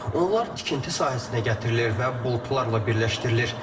Onlar tikinti sahəsinə gətirilir və boltlarla birləşdirilir.